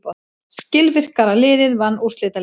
Skilvirkara liðið vann úrslitaleikinn.